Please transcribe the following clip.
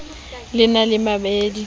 le e na le baemedi